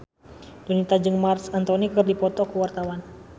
Donita jeung Marc Anthony keur dipoto ku wartawan